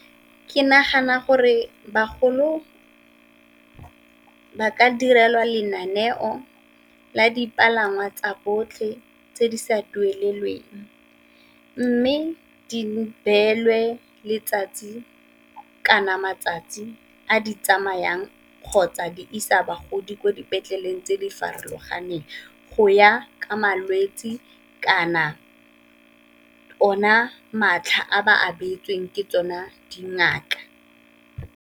Ke nagana gore bagolo ba ka direlwa lenaneo la dipalangwa tsa botlhe tse di sa duelelweng, mme di beelwe letsatsi kana matsatsi a di tsamayang kgotsa di isa bagodi ko dipetleleng tse di farologaneng go ya ka malwetsi kana ona matlha a ba abetsweng ke tsona dingaka.